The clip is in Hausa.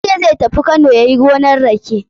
Ya ce zai tafi Kano yayi gonan rake.